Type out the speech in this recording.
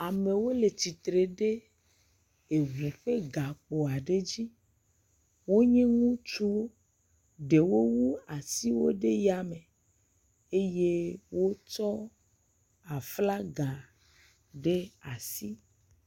Amewo le tsitre ɖe eŋu ƒe gakpo aɖe dzi. Wonye ŋutsuwo. Ɖewo wu asiwo ɖe yame eye wo tsɔ aflaga ɖe asi.